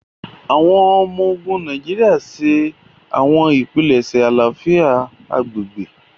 Awọn ọmọ-ogun Nàìjíríà n ṣe awọn ipilẹṣẹ àlàáfíà agbègbè.